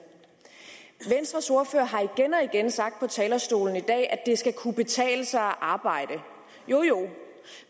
venstres ordfører har igen og igen sagt på talerstolen i dag at det skal kunne betale sig at arbejde jo jo